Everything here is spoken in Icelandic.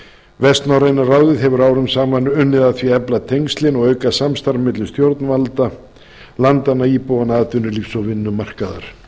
vestnorræna ráðið hefur árum saman unnið að því að efla tengslin og auka samstarf milli stjórnvalda landanna íbúanna atvinnulífs og vinnumarkaðar